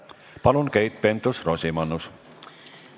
Palun, Keit Pentus-Rosimannus!